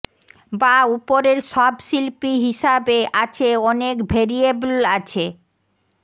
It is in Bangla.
বা উপরের সব শিল্পী হিসাবে আছে অনেক ভেরিয়েবল আছে